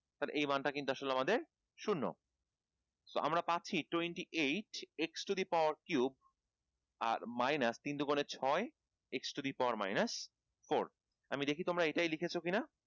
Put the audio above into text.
এই মান টা কিন্তু আসলে আমাদের শূন্য so আমরা পাচ্ছি twenty eight x to the power cube আর minus তিন দু গুনে ছয় x to the power minus four আমি দেখি তোমরা এটাই লিখেছ কিনা